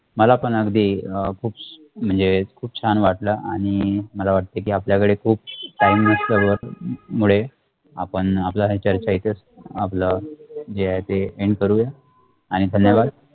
मला पण अगदी अ प खुप म्णजे खुप छान वाटला आणि मला वाटते की आपल्या कडे खुप time नसतो व मुळे आपण आपल्या हे चर्चा इथंच आपला जे आहे ते end करूया आणि धन्यवाद